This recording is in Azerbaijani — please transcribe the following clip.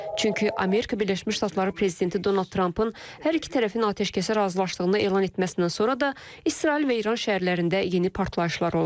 Çünki Amerika Birləşmiş Ştatları prezidenti Donald Trampın hər iki tərəfin atəşkəsə razılaşdığını elan etməsindən sonra da İsrail və İran şəhərlərində yeni partlayışlar olub.